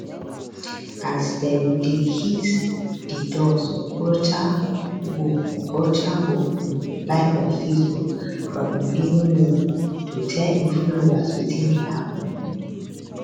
as dem dey hit di doors okorocha go okorocha go um live on facebook from im living room to tell im followers wetin dey happen